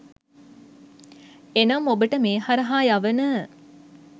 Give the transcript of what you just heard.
එනම් ඔබට මේ හරහා යවන